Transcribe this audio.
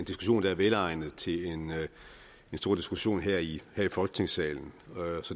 velegnet til en stor diskussion her i folketingssalen